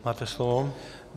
Máte slovo.